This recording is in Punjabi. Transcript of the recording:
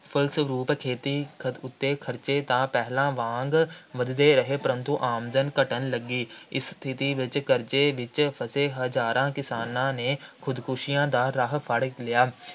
ਫਲਸਰੂਪ ਖੇਤੀ ਉੱਤੇ ਖਰਚੇ ਤਾਂ ਪਹਿਲਾਂ ਵਾਂਗ ਵੱਧਦੇ ਰਹੇ, ਪਰੰਤੂ ਆਮਦਨ ਘੱਟਣ ਲੱਗੀ। ਇਸ ਸਥਿਤੀ ਵਿੱਚ ਕਰਜ਼ੇ ਵਿੱਚ ਫਸੇ ਹਜ਼ਾਰਾਂ ਕਿਸਾਨਾਂ ਨੇ ਖ਼ੁਦਕੁਸ਼ੀਆਂ ਦਾ ਰਾਹ ਫੜ੍ਹ ਲਿਆ।